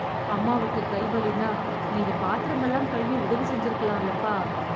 அம்மாவுக்கு கை வலின்னா, நீங்க பாத்திரமெல்லாம் கழுவ உதவி செஞ்சிருக்கலாம்லப்பா....